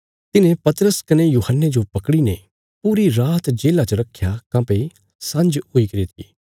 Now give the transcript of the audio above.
तिन्हें पतरस कने यूहन्ने जो पकड़ीने पूरी रात जेल्ला च रखया काँह्भई सांझ हुईगरी थी